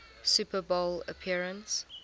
super bowl appearance